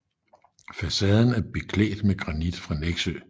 Facaden er beklædt med granit fra Nexø